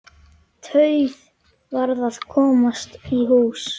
Tauið varð að komast í hús.